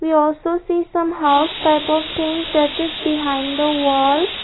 we also see some house type of things that is behind the walls.